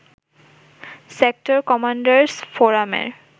sector commanders ফোরামের